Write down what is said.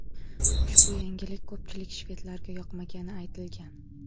Ushbu yangilik ko‘pchilik shvedlarga yoqmagani aytilgan.